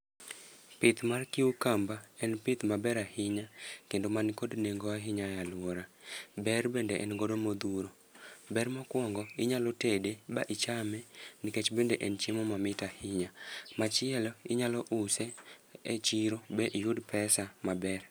Pith mar cucumber en pith maber ahinya, kendo mani kod nengo ahinya e alwora. Ber bende en godo modhuro. Ber mokwongo, inyalo tede ba ichame, nikech bende en chiemo mamit ahinya. Machielo inyalo use e chiro ba iyud pesa maber.